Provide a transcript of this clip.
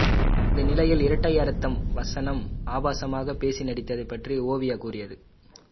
இந்நிலையில் இரட்டை அர்த்த வசனம் ஆபாசமாக பேசி நடித்தது பற்றி ஓவியா கூறியது